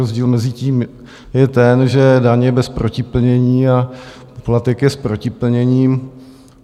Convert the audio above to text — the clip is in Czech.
Rozdíl mezi tím je ten, že daň je bez protiplnění a poplatek je s protiplněním.